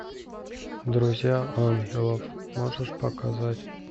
друзья ангелов можешь показать